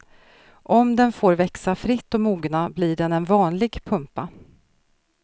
Om den får växa fritt och mogna blir den en vanlig pumpa.